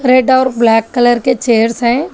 Red और black colour के chairs हैं।